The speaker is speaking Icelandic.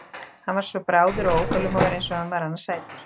Hann var svo bráður og óþolinmóður eins og hann var annars sætur.